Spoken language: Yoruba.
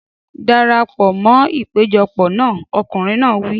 Dara pọ̀ mọ́ ìpéjọpọ̀ náà! Ọkùnrin náà wí.